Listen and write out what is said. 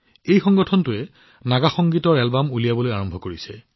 এই সংগঠনটোৱে Naga music album মুকলি কৰাৰ কাম আৰম্ভ কৰিছে